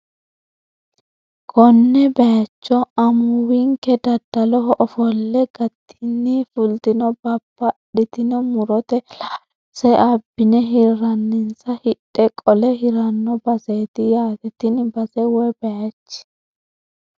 Konne bayiicho amuuwinke daddaloho ofolle gatinni fultino babbadhitino murota laalose abbine hirrenansa hidhe qole hiranno baseeti yaate tini base woy bayiichi